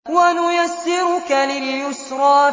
وَنُيَسِّرُكَ لِلْيُسْرَىٰ